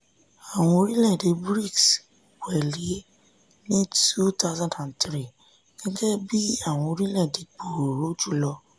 àwọn orílẹ̀ èdè brics wẹ̀lé ni two thousand and three gẹ́gẹ́ bí àwọn orílẹ̀ èdè gbòòrò jùlọ.